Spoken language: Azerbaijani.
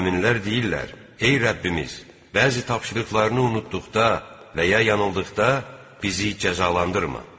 Möminlər deyirlər: "Ey Rəbbimiz, bəzi tapşırıqlarını unutduqda və ya yanıldıqda bizi cəzalandırma."